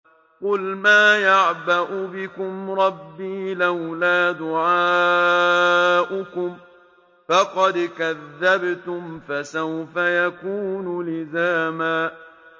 قُلْ مَا يَعْبَأُ بِكُمْ رَبِّي لَوْلَا دُعَاؤُكُمْ ۖ فَقَدْ كَذَّبْتُمْ فَسَوْفَ يَكُونُ لِزَامًا